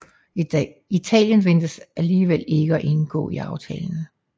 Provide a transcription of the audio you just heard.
Italien ventes alligevel ikke at indgå i aftalen